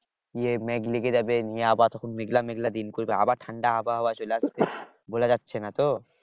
ইয়ে মেঘ ঢেকে যাবে নিয়ে আবার মেঘলা মেঘলা দিন করবে আবার ঠান্ডা আবহাওয়া চলে আসবে বলা যাচ্ছে না তো